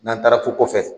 N'an taara ko kɔfɛ